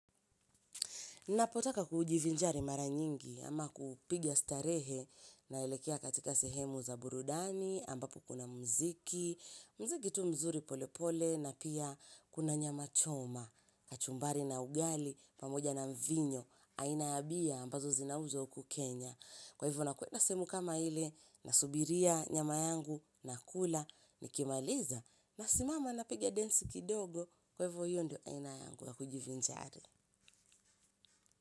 Napotaka kujivinjari mara nyingi ama kupiga starehe naelekea katika sehemu za burudani ambapo kuna mziki, mziki tu mzuri pole pole na pia kuna nyama choma, kachumbari na ugali pamoja na mvinyo, aina ya bia ambazo zinauzwa huku Kenya. Kwa hivyo nakwenda sehemu kama ile na subiria nyama yangu na kula ni kimaliza na simama na piga dance kidogo kwa hivyo hiyo ndio aina yangu ya kujivinjari.